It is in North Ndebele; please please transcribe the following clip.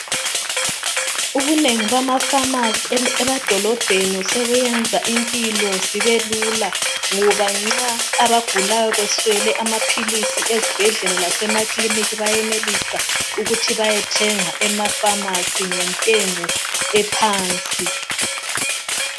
Ubunengi bamafamasi em- emadolobheni sebuyenza impilo zibe lula ngoba nxa abagulayo beswele amaphilisi ezibhedlela lasemaklinik bayenelisa ukuthi bayethenga emafamasi ngentengo ephansi.